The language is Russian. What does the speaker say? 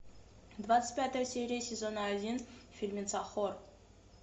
двадцать пятая серия сезона один фильмеца хор